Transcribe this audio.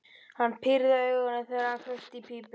Hann pírði augun, þegar hann kveikti í pípunni.